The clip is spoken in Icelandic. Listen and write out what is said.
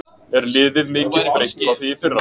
Er liðið mikið breytt frá því í fyrra?